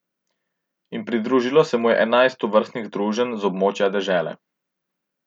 In pridružilo se mu je enajst tovrstnih združenj z območja dežele.